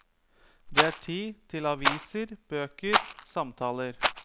Det er tid til aviser, bøker, samtaler.